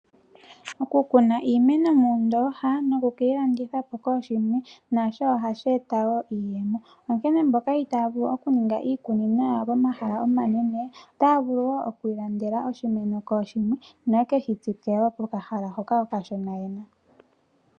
Okukuna iimeno moondooha, nokuyi landithapo kooshimwe, nasho ohadhi eta iiyemo. Onkene mboka itaya vulu okuninga iikunino yawo pomahala omanene, otaya vulu okwiilandela oshimeno shimwe, yo yekeshi tsike pokahala hoka okashona yena.